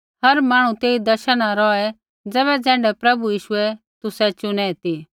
हर मांहणु तेई दशा न रौहै ज़ैबै ज़ैण्ढै प्रभु यीशुऐ तुसै चुनै ती